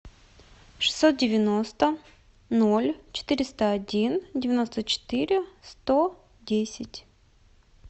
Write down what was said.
шестьсот девяносто ноль четыреста один девяносто четыре сто десять